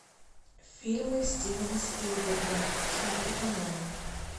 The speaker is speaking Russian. фильмы стивена спилберга смотреть онлайн